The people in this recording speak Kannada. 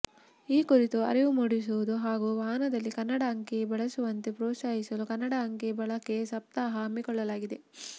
ಈ ಕುರಿತು ಅರಿವು ಮೂಡಿಸುವುದು ಹಾಗೂ ವಾಹನದಲ್ಲಿ ಕನ್ನಡ ಅಂಕಿ ಬಳಸುವಂತೆ ಪ್ರೋತ್ಸಾಹಿಸಲು ಕನ್ನಡ ಅಂಕಿ ಬಳಕೆ ಸಪ್ತಾಹ ಹಮ್ಮಿಕೊಳ್ಳಲಾಗಿದೆ